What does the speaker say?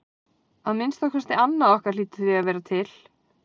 Að minnsta kosti annað okkar hlýtur því að vera til.